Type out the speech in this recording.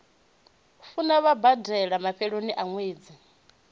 funa vhabadela mafhelonia a nwedzi